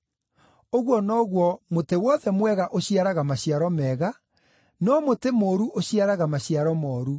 Ũguo noguo, mũtĩ wothe mwega ũciaraga maciaro mega, no mũtĩ mũũru ũciaraga maciaro mooru.